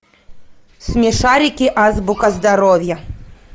смешарики азбука здоровья